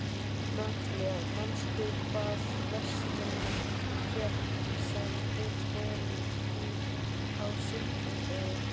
Natalía, manstu hvað verslunin hét sem við fórum í á sunnudaginn?